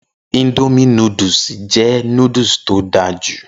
Indomie núdúsì jẹ́ núdúsì tó dára jù.